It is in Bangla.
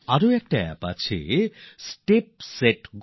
আরও একটি অ্যাপ আছে স্টেপ সেট গো